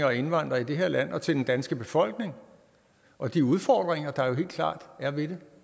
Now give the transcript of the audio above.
og indvandrere i det her land og til den danske befolkning og de udfordringer der helt klart er ved